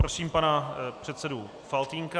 Prosím pana předsedu Faltýnka.